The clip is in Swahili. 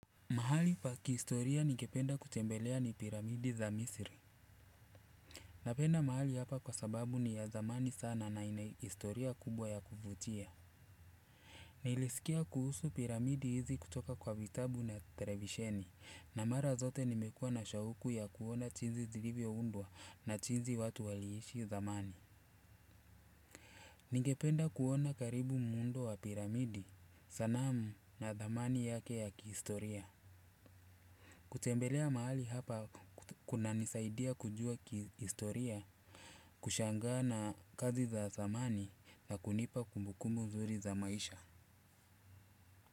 Mahali pa kihistoria ningependa kutembelea ni piramidi za misri. Napenda mahali hapa kwa sababu ni ya thamani sana na inaistoria kubwa ya kuvutia. Nilisikia kuhusu piramidi hizi kutoka kwa vitabu na televisheni na mara zote nimekua na shauku ya kuona jinsi zilivyo undwa na jinsi watu waliishi zamani. Ningependa kuona karibu muundo wa piramidi sanamu na thamani yake ya kihistoria. Kutembelea mahali hapa kuna nisaidia kujua kihistoria, kushangaa na kazi za zamani na kunipa kumbukumbu nzuri za maisha.